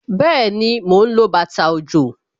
Bẹẹni, mo ń lo bàtà òjò